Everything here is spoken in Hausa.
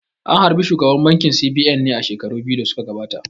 An harbi shugaban bankin C.B.N ne a shekaru biyu da suka gabata